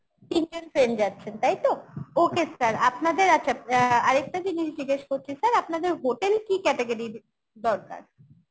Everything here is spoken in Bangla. তিনজন friend যাচ্ছেন তাই তো? okay sir আপনাদের আচ্ছা অ্যাঁ আরেকটা জিনিস জিজ্ঞেস করছি sir আপনাদের hotel কি category র দরকার?